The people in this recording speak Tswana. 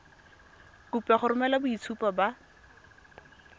kopiwa go romela boitshupo ba